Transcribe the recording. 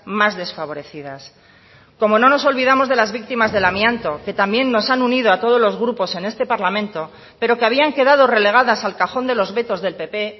más desfavorecidas como no nos olvidamos de las víctimas del amianto que también nos han unido a todos los grupos en este parlamento pero que habían quedado relegadas al cajón de los vetos del pp